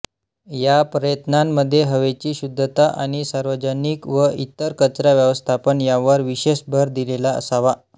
या प्रयत्नांमध्ये हवेची शुध्दता आणि सार्वजनिक व इतर कचरा व्यवस्थापन यांवर विशेष भर दिलेला असावा